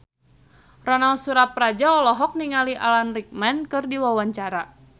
Ronal Surapradja olohok ningali Alan Rickman keur diwawancara